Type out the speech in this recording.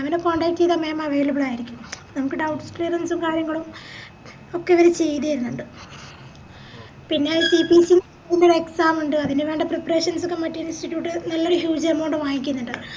ma'am നെ contact ചെയ്താൽ ma'am available ആയിരിക്കും നമുക്ക് doubts clearance കളും കാര്യങ്ങളും ഒക്കെ അവര് ചെയ്തത് തെര്ന്നിൻഡ് പിന്നെ CPC ൻറെ exam ഇണ്ട് അതിനുവേണ്ട preparations ഒക്കെ മറ്റേ institute huge amount വാങ്ങിക്കിന്നിണ്ട്